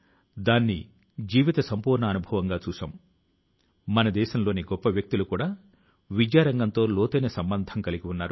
1857వ సంవత్సరం కన్నా పూర్వం స్వాతంత్ర్యం తాలూకు ఒకటో పోరాటాని కి సాక్ష్యం రెసిడెన్సీ తాలూకు గోడల పైన ఈనాటికీ కనిపిస్తుంటుంది